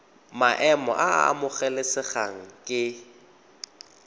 maemo a a amogelesegang ke